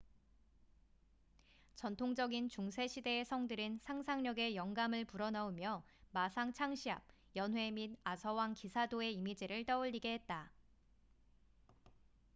전통적인 중세 시대의 성들은 상상력에 영감을 불어넣으며 마상 창시합 연회 및 아서왕 기사도의 이미지를 떠올리게 했다